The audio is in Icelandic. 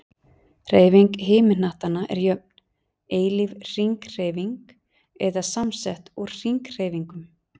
Hreyfing himinhnattanna er jöfn, eilíf hringhreyfing, eða samsett úr hringhreyfingum.